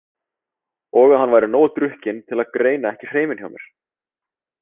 Og að hann væri nógu drukkinn til að greina ekki hreiminn hjá mér.